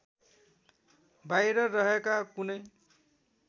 बाहिर रहेका कुनै